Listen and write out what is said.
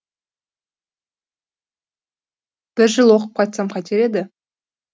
бір жыл оқып қайтсам қайтер еді